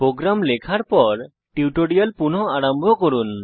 programme লেখার পর tutorial পুনঃ আরম্ভ করুন